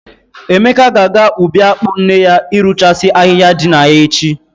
Emeka ga-aga ubi akpụ nne ya irụchasị ahịhịa dị na ya echi.